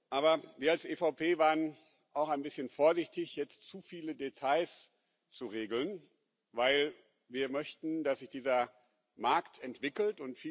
Aber wir als EVP waren auch ein bischen vorsichtig jetzt zu viele Details zu regeln, denn wir möchten, dass sich dieser Markt entwickelt.